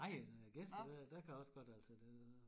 Nej når der er gæster der der kan jeg også godt altså det